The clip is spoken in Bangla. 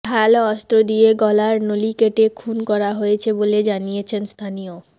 ধারালো অস্ত্র দিয়ে গলার নলি কেটে খুন করা হয়েছে বলে জানিয়েছেন স্থানীয়